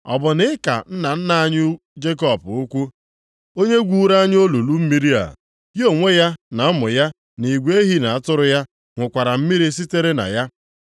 Ọ bụ na ị ka nna nna anyị Jekọb ukwuu, onye gwuuru anyị olulu mmiri a? Ya onwe ya na ụmụ ya na igwe ehi na atụrụ ya ṅụkwara mmiri sitere na ya?”